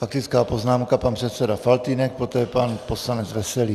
Faktická poznámka - pan předseda Faltýnek, poté pan poslanec Veselý.